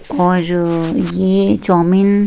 और ये चौमिन --